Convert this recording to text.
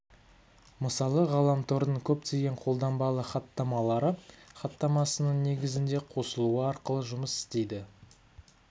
мысалы ғаламтордың көптеген қолданбалы хаттамалары хатамасының негізінде қосылу арқылы жұмыс істейді